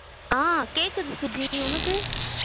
ஆஹ் கேகக்குது சுஜி டி உனக்கு